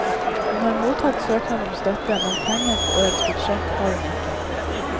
Hun har mottatt søknad om støtte, men penger på årets budsjett har hun ikke.